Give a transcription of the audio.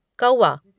कौआ